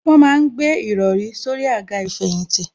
Wọ́n ma ń gbé ìrọrí sórí àga ìfẹ̀yìntì